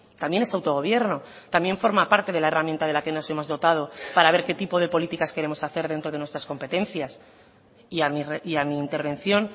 también es autogobierno también forma parte de la herramienta de la que nos hemos dotado para ver qué tipo de políticas queremos hacer dentro de nuestras competencias y a mi intervención